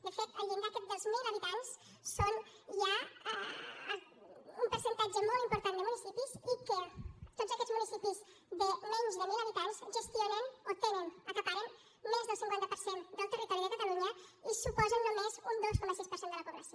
de fet el llindar aquest dels mil habitants és ja un percentatge molt important de municipis i que tots aquests municipis de menys de mil habitants gestionen o tenen acaparen més del cinquanta per cent del territori de catalunya i suposen només un dos coma sis per cent de la població